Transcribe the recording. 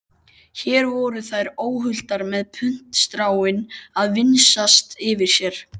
Hér voru þær óhultar með puntstráin að vingsast yfir sér.